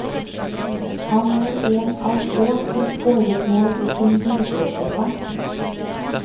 Han er en av få som scoret mål i sin gullklokkekamp.